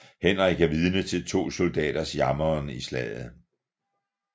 Henrik er vidne til to soldaters jammeren i slaget